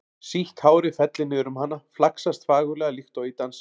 Sítt hárið fellur niður um hana, flaksast fagurlega líkt og í dansi.